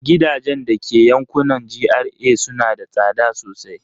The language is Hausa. Gidajen da ke yankunan GRA suna da tsada sosai.